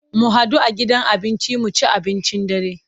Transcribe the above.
Mu hadu a gidan abinci mu ci abincin dare.